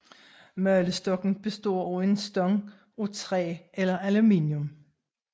Malestokken består af en stang af træ eller aluminium